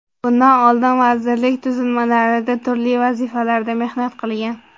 Bundan oldin vazirlik tuzilmalarida turli vazifalarda mehnat qilgan.